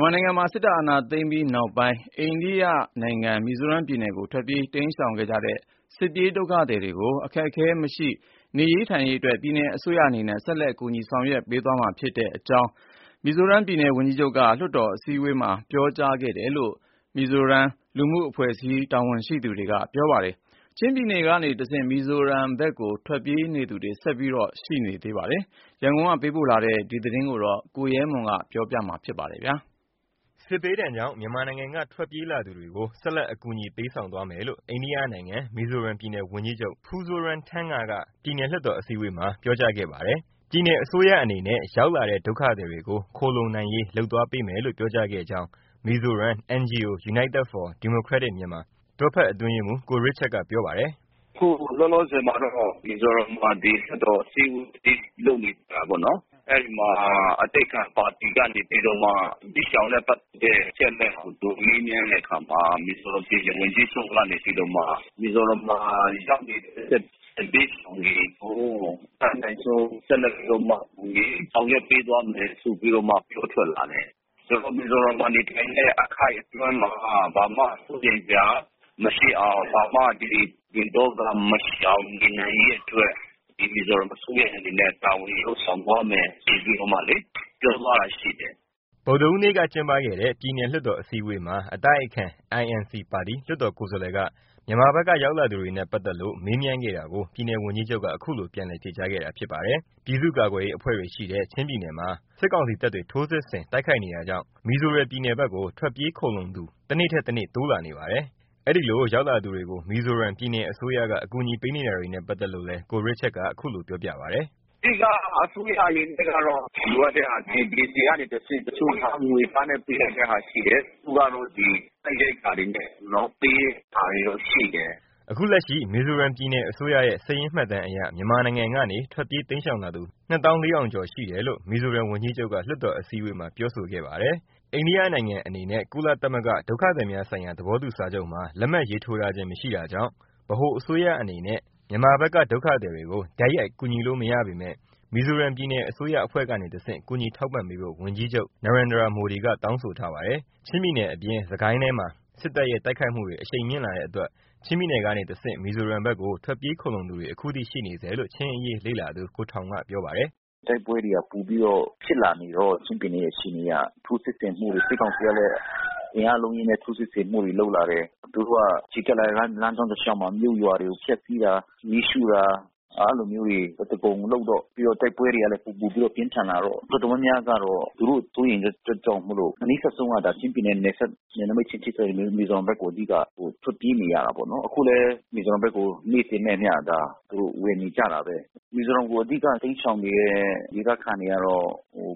်မာနိုင်ငံမှာ စစ်အာဏာသိမ်းပြီးနောက်ပိုင်း အိန္ဒိယနိုင်ငံ မီဇိုရမ်ပြည်နယ်ကို ထွက်ပြေးတိမ်းရှောင်ခဲ့ကြတဲ့ စစ်ဘေးဒုက္ခသည်တွေကို အခက်အခဲမရှိ နေထိုင်ရေးအတွက် ပြည်နယ်အစိုးရအနေနဲ့ ဆက်လက်ကူညီဆောင်ရွက်ပေးသွားမယ့်အကြောင်း မီဇိုရမ်ပြည်နယ် ဝန်ကြီးချုပ်က လွှတ်တော်အစည်းအဝေးမှာ ပြောကြားခဲ့တယ်လို့ မီဇိုရမ်လူမှုအဖွဲ့အစည်းတာဝန်ရှိသူတွေက ပြောပါတယ်။ လက်ရှိ ချင်းပြည်နယ်အတွင်း စစ်ရေးပဋိပက္ခတွေကြောင့် ချင်းပြည်နယ်ကနေတဆင့် မီဇိုရမ်ဘက်ကို ထွက်ပြေးသူတွေ ဆက်ပြီးရှိနေချိန်မှာ ခုလိုပြောကြားခဲ့တာဖြစ်ပါတယ်။ ဒီအကြောင်းရန်ကုန်ကပေးပို့လာတဲ့သတင်းကို ကိုရဲမွန် ကပြောပြပေးမှာပါ။ စစ်ဘေးဒဏ်ကြောင့် မြန်မာနိုင်ငံက ထွက်ပြေးလာသူတွေကို ဆက်လက်အကူညီပေးဆောင်မယ်လို့ အိန္ဒိယနိုင်ငံ မီဇိုရမ်ပြည်နယ် ဝန်ကြီးချုပ် ပူးဇိုးရမ်းထန်းငါ က ပြည်နယ် လွှတ်တော်အစည်းအဝေးမှာ ပြောကြားခဲ့ပါတယ်။ ပြည်နယ်အစိုးရ အနေနဲ့ ရောက်လာတဲ့ ဒုက္ခသည်တွေကို ခိုလှုံနိုင်ရေး လုပ်ပေးသွားမယ်လို့ ပြောကြားခဲ့ကြောင်း မီဇိုရမ် NGO United for Democratic Myanmar တွဲဖက်အတွင်းရေးမှူး ကိုရစ်ချတ်ကပြောပါတယ်။ “ အခုလောလောဆယ်မှာတော့ မီဇိုရမ်ပြည်နယ်မှာ လွှတ်တော်အစည်းအဝေးကြီးလုပ်နေတာပေါ့နော်။ အဲဒီမှာအတိုက်အခံပါတီ ကနေပြီးတော့မှ စစ်ရှောင်နဲ့ပက်သက်တဲ့ အချက်အလက်တွေကိုမေးမြန်းတဲ့အခါမှာ ပြည်နယ်ဝန်ကြီးချုပ် ကနေပြီးတော့မှ မီဇိုရမ်မှာရောက်နေတဲ့ စစ်ဘေးရှောင်တွေကို အတတ်နိုင်ဆုံး ဆက်လက်ပြီးတော့မှ ကူညီဆောင်ရွက်ပေးသွားမယ်ဆိုပြီးတော့မှ ပြောလာတယ်။ ဆိုတော့ မီဇိုရမ်မှာ နေထိုင်တဲ့အခိုက်အတွင်းမှာ ဘာမှစိုးရိမ်စရာ မရှိအောင် ဘာမှပူပင်သောကမရှိအောင် နေနိုင်ရေးအတွက် မီဇိုရမ်အစိုးရအနေနဲ့တာဝန်ယူလုပ်ဆောင်သွားမယ်ဆိုပြီးမှလေ သူပြောသွားတာရှိတယ်။” ဗုဒ္ဓဟူးနေ့ကကျင်းပခဲ့တဲ့ ပြည်နယ်လွှတ်တော်အစည်းအဝေးမှာ အတိုက်ခံ INC ပါတီ လွှတ်တော်ကိုယ်စာလှယ်က မြန်မာဘက်ကရောက်လာသူတွေနဲ့ ပါတ်သက်လို့ မေးမြန်းခဲ့တာကို ပြည်နယ်ဝန်ကြီးချုပ်က ခုလိုပြန်လည်ဖြေကြားခဲ့တာဖြစ်ပါတယ်။ ပြည်သူ့ကာကွယ်ရေးအဖွဲ့တွေရှိတဲ့ ချင်းပြည်နယ်မှာ စစ်ကောင်စီတပ်တွေ ထိုးစစ်ဆင် တိုက်ခိုက်နေတာကြောင့် မီဇိုရမ်ပြည်နယ်ဘက်ကို ထွက်ပြေးခိုလှုံသူ တနေ့ထက်တနေ့ တိုးလာနေပါတယ်။ အဲဒီလိုရောက်လာသူတွေကို မီဇိုရမ်ပြည်နယ်အစိုးရ အကူအညီပေးနေတာတွေနဲ့ ပါတ်သက်လို့လည်း ကိုရစ်ချတ်က ခုလို ပြောပြပါတယ်။ “အဓိက အစိုးရအနေနဲ့ကတော့ လိုအပ်တဲ့ဟာတွေ DC ကနေတဆင့် တချို့ကငွေသားနဲ့ ပေးနိုင်တဲ့ဟာရှိတယ်။ တချို့ကတော့စားနပ်ရိက္ခာတွေနဲ့ ကျွန်တော်တို့ပေးတာတွေရှိတယ်။ ” အခုလက်ရှိ မီဇိုရမ်ပြည်နယ်အစိုးရရဲ့ စာရင်းမှတ်တမ်းအရ မြန်မာနိုင်ငံကနေ ထွက်ပြေးတိမ်းရှောင်လာသူ ၂ သောင်း ၄ ထောင်ကျော် ရှိတယ်လို့ မီဇိုရမ်ဝန်ကြီးချုပ်က လွှတ်တော်အစည်းအဝေးမှာပြောဆိုခဲ့ပါတယ်။ အိန္ဒိယနိုင်ငံအနေနဲ့ ကုလသမဂ္ဂ ဒုက္ခသည်များဆိုင်ရာသဘောတူစာချုပ် (UN Convention on Refugees) မှာ လက်မှတ်ရေးထိုးထားခြင်း မရှိတာကြောင့် ဗဟိုအစိုးရအနေနဲ့ မြန်မာဘက်က ဒုက္ခသည်တွေကို တိုက်ရိုက် ကူညီလို့ မရပေမဲ့ မီဇိုရမ်ပြည်နယ်အစိုးရ အဖွဲ့ကနေတဆင့် ကူညီထောက်ပံ့ပေးဖို့ ပြည်နယ် ဝန်ကြီးချုပ် ကတောင်းဆိုထားပါတယ်။ ချင်းပြည်နယ်အပြင် စစ်ကိုင်းတိုင်းထဲမှာ စစ်တပ်ရဲ့ တိုက်ခိုက်မှုတွေ အရှိန်မြင့်လာတဲ့အတွက် ချင်းပြည်နယ်ကနေတဆင့် မီဇိုရမ်ဘက်ကို ထွက်ပြေးခိုလှုံသူတွေ အခုထိ ရှိနေဆဲလို့ ချင်းအရေးလေ့လာသူ ကိုထောင်ရ်က ပြောပါတယ်။ “ တိုက်ပွဲတွေပိုပြီးတော့မှ ပြင်းထန်နေတော့ ချင်းပြည်နယ်ကထိုးစစ်ဆင်မှုတွေ စစ်ကောင်စီကလဲ အင်အားအလုံးအရင်းနဲ့ထိုးစစ်ဆင်မှုတွေလုပ်လာတယ်။ သူတို့ကချီတက်လာတဲ့လမ်းကြောင်းတလျှောက်မှာ မြို့ရွာတွေကို ဖျက်စီးတာ မီးရှို့တာ။ အဲတာမျိုးတွေအသားကုန်လုပ်တော့ ပြီးတော့တိုက်ပွဲတွေကလဲ ပိုပိုပြင်းထန်လာတော့ တော်တော်များများကတော့ သူတို့စိုးရိမ်တဲ့အတွက်ကြောင့်မိုလို့ အနီးစပ်ဆုံး ကတော့ ချင်းပြည်နယ်ရဲ့နယ်စပ် နယ်နမိတ်ချင်း ထိစပ်နေတဲ့ မီဇိုရမ်ဘက်ကို အဓိကထွက်ပြေးနေရတာပါနော်။ အခုလဲ မီဇိုရမ်ဘက်ကို နေ့စဉ်နဲ့အမျှ ဝင်နေကြတာ ဘဲ။ မီဇိုရမ်ကိုအဓိက တိမ်းရှောင်နေတဲ့ဒေသခံတွေကတော့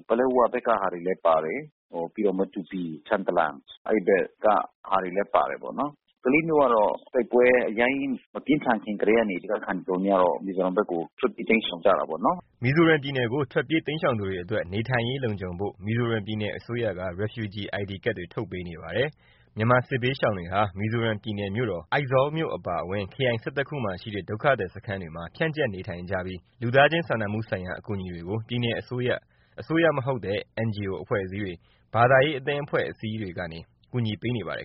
ပလက်ဝဘက်ကဟာလဲပါတယ်။ ပြီးတော့ မတူပီ၊ ထန်တလန် အဲဒီဘက်ကဟာတွေလဲပါတာပေါ့နော်။ ကလေးမြို့ကတော့ တိုက်ပွဲအရမ်းကြီးမပြင်းထန်ခင်ကတည်းက ဒေသခံတွေ တော်တော်များများကတော့ မီဇိုရမ်ဘက်ကို ထွက်ပြေးတိမ်းရှောင်ကြတာပေါ့နော်။” မီဇိုရမ်ပြည်နယ်ကို ထွက်ပြေးတိမ်းရှောင်သူတွေအတွက် နေထိုင်ရေးလုံခြုံဖို့ မီဇိုရမ်ပြည်နယ်အစိုးရက Refugee ID ကဒ်တွေ ထုတ်ပေးနေပါတယ်။ မြန်မာစစ်ဘေးရှောင်တွေဟာ မီဇိုရမ်ပြည်နယ်မြို့တော် အိုင်ဇောလ်မြို့အပါအဝင် ခရိုင် ၁၁ ခု မှာရှိတဲ့ ဒုက္ခသည်စခန်းတွေမှာ ဖြန့်ကျက်နေထိုင်ကြပြီး လူသားချင်းစာနာမှုဆိုင်ရာ အကူအညီတွေကို ပြည်နယ်အစိုးရ၊ အစိုးရမဟုတ်တဲ့ အဖွဲ့အစည်းတွေ ဘာသာရေးအသင်းအဖွဲ့အစည်းတွေကနေ ကူညီပေးနေပါတယ်